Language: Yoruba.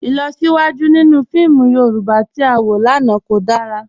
Ilọsiwaju ninu fíìmù Yorùbá tí a wọ lánà kò dára.